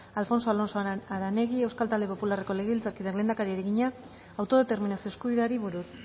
alfonso alonso aranegui euskal talde popularreko legebiltzarkideak lehendakariari egina autodeterminazio eskubideari buruz